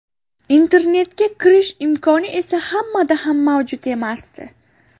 Internetga kirish imkoni esa hammada ham mavjud emasdi.